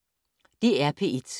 DR P1